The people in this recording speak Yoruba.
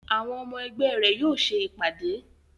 Àwọn ọmọ ẹgbẹ́ rẹ̀ yóò ṣe ìpàdé